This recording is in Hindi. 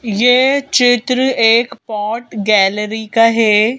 ये चित्र एक पोर्ट गैलरी का हे ।